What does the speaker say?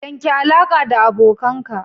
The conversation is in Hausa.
Yanke alaƙa da abokanka!